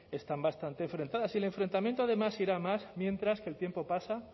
están bastante enfrentadas y el enfrentamiento además irá a más mientras que el tiempo pasa